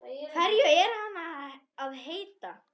Hverju er hann að heita?